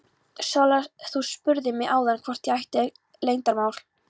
Sóla, þú spurðir mig áðan hvort ég ætti leyndarmál.